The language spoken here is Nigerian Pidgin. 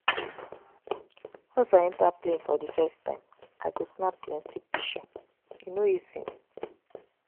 Once I enta plane for di first time, I go snap plenty pishure, e no dey easy.